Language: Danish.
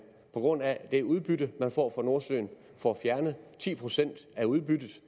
på grund af det udbytte man får fra nordsøen får fjernet ti procent af udbyttet